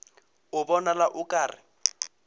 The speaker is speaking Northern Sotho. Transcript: a bonala o ka re